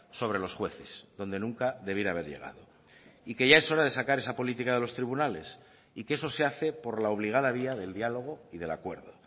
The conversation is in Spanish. sobre los jueces donde nunca debiera haber llegado y que ya es hora de sacar esa política de los tribunales y que eso se hace por la obligada vía del diálogo y del acuerdo